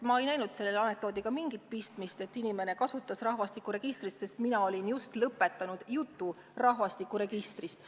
Ma ei näinud selles midagi anekdootlikku, et inimene kasutas rahvastikuregistri sõna, sest mina olin just lõpetanud jutu rahvastikuregistrist.